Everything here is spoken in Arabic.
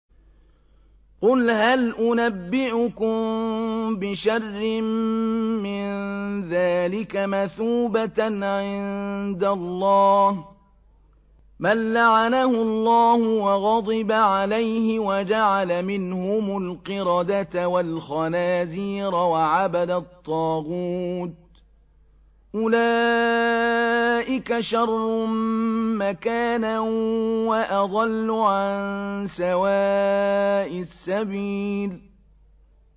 قُلْ هَلْ أُنَبِّئُكُم بِشَرٍّ مِّن ذَٰلِكَ مَثُوبَةً عِندَ اللَّهِ ۚ مَن لَّعَنَهُ اللَّهُ وَغَضِبَ عَلَيْهِ وَجَعَلَ مِنْهُمُ الْقِرَدَةَ وَالْخَنَازِيرَ وَعَبَدَ الطَّاغُوتَ ۚ أُولَٰئِكَ شَرٌّ مَّكَانًا وَأَضَلُّ عَن سَوَاءِ السَّبِيلِ